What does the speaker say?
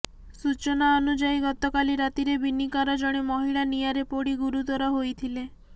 ସୂଚନା ଅନୁଯାୟୀ ଗତକାଲି ରାତିରେ ବିନିକାର ଜଣେ ମହିଳା ନିଆଁରେ ପୋଡି ଗୁରୁତର ହେଇଥିଲେ